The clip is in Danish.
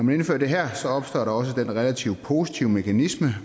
vi indfører det her opstår der også den relativt positive mekanisme